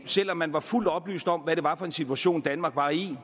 selv om man var fuldt oplyst om hvad det var for en situation danmark var i